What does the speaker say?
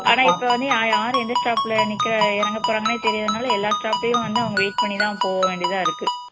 ஆனா இப்போ வந்து யார் எந்த stop ல நிக்குற இறங்க போறாங்கன்னே தெரியாததுனால எல்லா stop லயும் வந்து அவங்க wait பண்ணிதான் போக வேண்டியதா இருக்கு